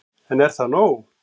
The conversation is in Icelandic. En er það nóg